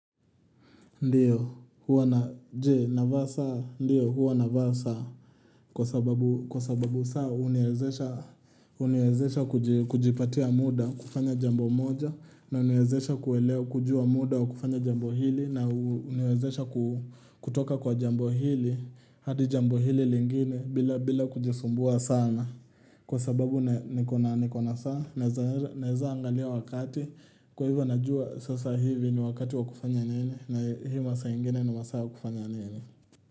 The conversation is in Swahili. Ndiyo, huwa navaa saa kwa sababu saa huniwezesha kujipatia muda kufanya jambo moja na huniwezesha kuwelea kujua muda wa kufanya jambo hili na huniwezesha kutoka kwa jambo hili hadi jambo hili lingine bila kujisumbua sana kwa sababu nikona saa naeza angalia wakati kwa hivyo najua sasa hivi ni wakati wa kufanya nini na hii masaa ingine ni masaa ya kufanya nini.